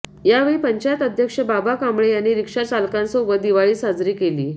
यावेळी पंचायत अध्यक्ष बाबा कांबळे यांनी रिक्षा चालकांसोबत दिवाळी साजरी केली